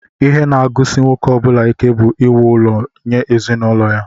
Ihe naagụsị nwoke ọbula ike bú íwú ụlọ nye ezinụlọ ya.